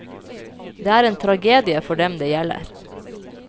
Det er en tragedie for dem det gjelder.